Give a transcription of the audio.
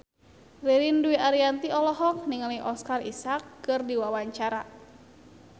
Ririn Dwi Ariyanti olohok ningali Oscar Isaac keur diwawancara